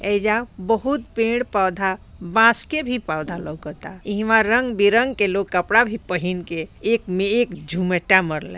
एजा बहुत पेड़-पौधा बांस के भी पौधा लोकाता आ इमा रंग-बिरंग के लोग कपड़ा भी पहिन के एक में एक जुमेटा मरले।